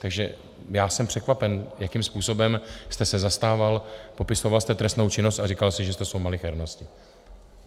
Takže já jsem překvapen, jakým způsobem jste se zastával, popisoval jste trestnou činnost a říkal jste, že to jsou malichernosti.